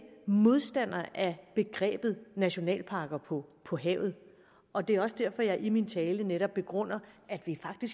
modstander af begrebet nationalparker på på havet og det er også derfor jeg i min tale netop begrundede at vi